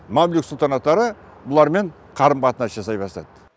мамлюк сұлтанаттары бұлармен қарым қатынас жасай бастады